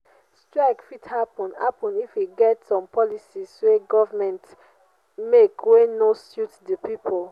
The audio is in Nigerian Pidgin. strike fit happen happen if e get some policies wey government make wey no suit the pipo